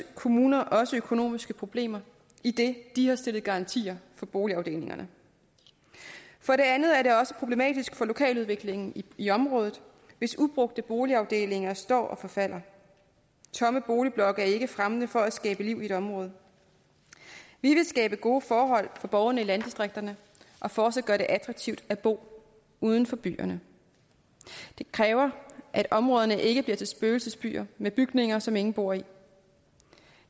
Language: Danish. kommuner også økonomiske problemer idet de har stillet garantier for boligafdelingerne for det andet er det også problematisk for lokaludviklingen i området hvis ubrugte boligafdelinger står og forfalder tomme boligblokke er ikke fremmende for at skabe liv i et område vi vil skabe gode forhold for borgerne i landdistrikterne og fortsat gøre det attraktivt at bo uden for byerne det kræver at områderne ikke bliver til spøgelsesbyer med bygninger som ingen bor i